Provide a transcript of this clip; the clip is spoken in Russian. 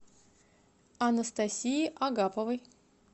анастасии агаповой